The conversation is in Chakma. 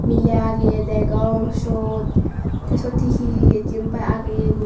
miley ageye degong syot tey syot hihi jenpai ageye guri.